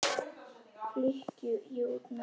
klykki ég út með.